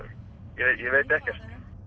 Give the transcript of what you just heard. ég veit ekkert